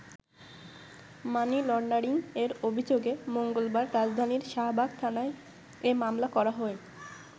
মানি laundering এর অভিযোগে মঙ্গলবার রাজধানীর শাহবাগ থানায় এ মামলা করা হয়।